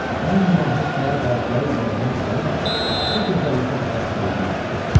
Ən mahir saray dərziləri ilə də mərc gəlirəm ki, bu gözəllikdə xalat tikə bilməzlər.